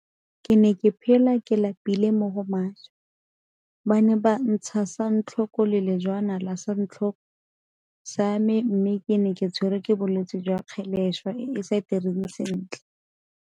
Ke ne ke phela ke lapile mo go maswe, ba ne ba ntsha santlho ko le lejwana la santlhoko sa me mme ke ne ke tshwerwe ke bolwetse jwa kgeleswa e e sa direng sentle.